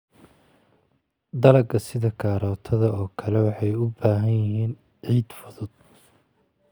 Dalagga sida karootada oo kale waxay u baahan yihiin ciid fudud.